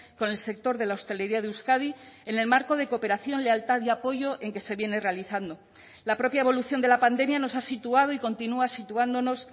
con el sector de la hostelería de euskadi en el marco de cooperación lealtad y apoyo en que se viene realizando la propia evolución de la pandemia nos ha situado y continúa situándonos